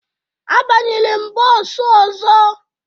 Abanyere m bọọsụ ọzọ